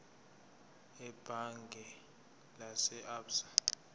ebhange lase absa